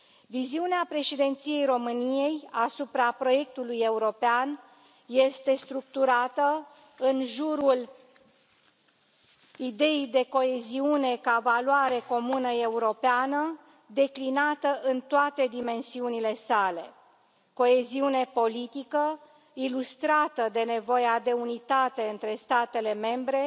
Viziunea Președinției României asupra proiectului european este structurată în jurul ideii de coeziune, ca valoare comună europeană declinată în toate dimensiunile sale coeziune politică, ilustrată de nevoia de unitate între statele membre